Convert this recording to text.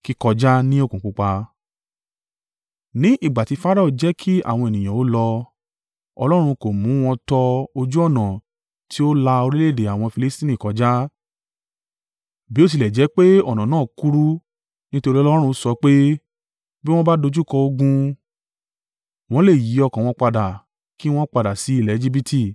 Ní ìgbà tí Farao jẹ́ kí àwọn ènìyàn ó lọ, Ọlọ́run kò mú wọn tọ ojú ọ̀nà ti ó la orílẹ̀-èdè àwọn Filistini kọjá, bí o tilẹ̀ jẹ́ pé ọ̀nà náà kúrú. Nítorí Ọlọ́run sọ pé, “Bí wọ́n bá dojúkọ ogun, wọ́n lè yí ọkàn wọn padà kí wọ́n padà sí ilẹ̀ Ejibiti.”